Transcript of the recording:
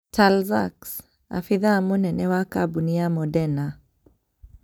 Tal Zaks, abithaa mũnene wa kambũni ya Moderna.